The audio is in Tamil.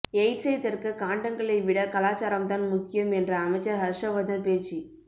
எய்ட்ஸை தடுக்க காண்டங்களை விட கலாசாரம்தான் முக்கியம் என்ற அமைச்சர் ஹர்ஷவர்தன் பேச்சு